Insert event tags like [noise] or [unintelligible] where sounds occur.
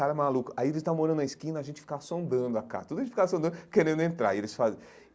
Os cara maluco aí eles estavam morando na esquina e a gente ficava sondando a casa, tudo a gente ficava sondando querendo entrar e eles. [unintelligible]